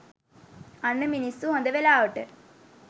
අන්න මිනිස්සු හොඳ වෙලාවට